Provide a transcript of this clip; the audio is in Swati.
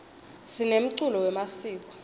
sinemculo wemasiko